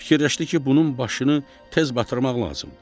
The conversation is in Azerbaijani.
Fikirləşdi ki, bunun başını tez batırmaq lazımdır.